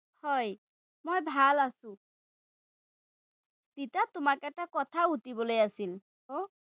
হয়, মই ভাল আছো। ৰিতা, তোমাক এটা কথা সুধিবলৈ আছিল।